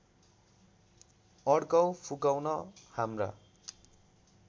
अड्काउ फुकाउन हाम्रा